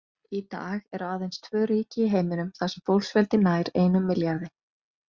Í dag eru aðeins tvö ríki í heiminum þar sem fólksfjöldi nær einum milljarði.